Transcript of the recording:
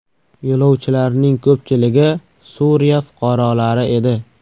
Yo‘lovchilarning ko‘pchiligi Suriya fuqarolari edi.